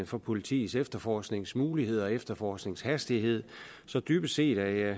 for politiets efterforskningsmuligheder og efterforskningshastighed så dybest set er